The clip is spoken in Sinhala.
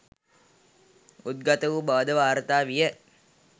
උද්ගත වූ බවද වාර්තා විය.